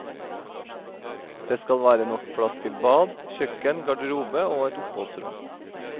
Det skal være nok plass til bad, kjøkken, garderobe og et oppholdsrom.